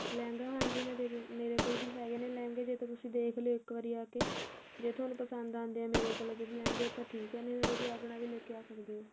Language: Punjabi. ਲਹਿੰਗਾ ਹੁਣ ਜਿਵੇਂ ਦੇਖੋ ਮੇਰੇ ਕੋਲ ਵੀ ਹੈਗੇ ਨੇ ਲਹਿੰਗਾ ਜਾਂ ਤੁਸੀਂ ਦੇਖ ਲਿਉ ਇੱਕ ਵਾਰੀ ਆ ਕੇ ਜੇ ਤੁਹਾਨੂੰ ਪਸੰਦ ਆਂਦੇ ਏ ਮੇਰੇ ਕੋਲ ਲਹਿੰਗੇ ਤਾਂ ਠੀਕ ਏ ਨਹੀਂ ਤਾਂ ਤੁਸੀਂ ਆਪਣਾ ਵੀ ਲੈ ਕੇ ਆ ਸਕਦੇ ਓ